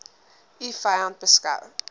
u vyand beskou